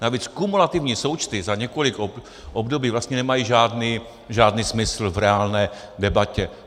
Navíc kumulativní součty za několik období vlastně nemají žádný smysl v reálné debatě.